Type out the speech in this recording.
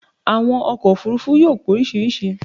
Àwọn ọkọ̀ òfurufú yóò póríṣiríṣi